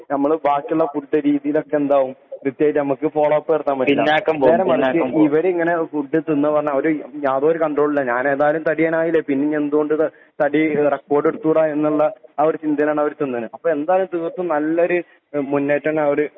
ഞമ്മള് ബാക്കിയുള്ള ഫുഡ് രീതിയിലൊക്കെ എന്താവും പ്രേത്യേകിച്ചു ഫോള്ലോപ്പ് നടത്താൻ പറ്റില്ല. ഇവര് ഇങ്ങനെ ഫുഡ് തിന്നന്നെ യാതൊരു കണ്ട്രോളും ഇല്ല എന്തായാലും തടിയനായില്ലേ. തടി റെക്കോഡ് എടുത്തുടാ എന്നുള്ള ചിന്തയിലാണ് അവരെ തിന്നണ് എന്തായാലും നല്ലൊരു മുന്നേറ്റം ആയിട്ടാണ് അവര്